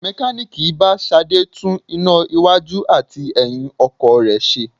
Mekaniiki bá Ṣadé tún iná iwájú àti ẹyin ọkọ̀ rẹ ṣe.